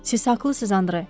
Siz haqlısınız Andre.